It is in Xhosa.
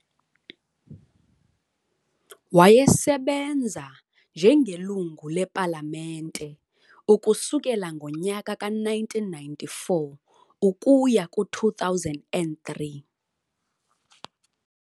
Wayesebenza njengelunga le Palamente ukusukela ngonyaka ka 1994 ukuya ku 2003.